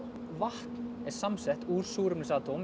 vatn er samsett úr